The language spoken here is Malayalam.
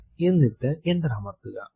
എന്നിട്ട് എന്റർ അമർത്തുക